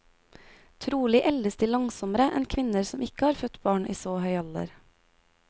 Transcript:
Trolig eldes de langsommere enn kvinner som ikke har født barn i så høy alder.